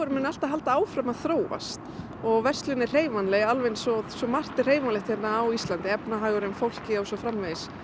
muni alltaf halda áfram að þróast og verslun er hreyfanleg eins og svo margt er hreyfanlegt á Íslandi efnahagurinn fólkið og svo framvegis